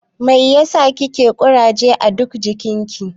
Mai ya sa kike da kuraje a ɗuk jikin ki?